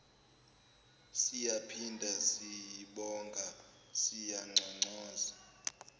siyaphinda sibonga siyanconcoza